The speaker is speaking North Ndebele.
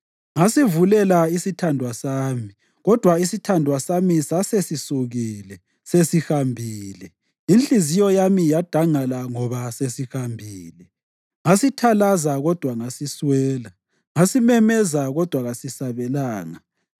Ngasivulela isithandwa sami, kodwa isithandwa sami sasesisukile, sasesihambile. Inhliziyo yami yadangala ngoba sesihambile. Ngasithalaza kodwa ngasiswela. Ngasimemeza kodwa kasisabelanga.